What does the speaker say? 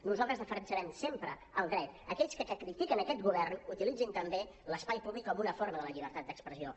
nosaltres defensarem sempre el dret a aquells que critiquen aquest govern que utilitzin també l’espai públic com una forma de la llibertat d’expressió